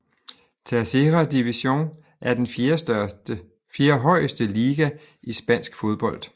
Tercera División er den fjerdehøjeste liga i spansk fodbold